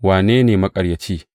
Wane ne maƙaryaci?